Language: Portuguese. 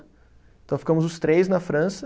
Então, ficamos os três na França.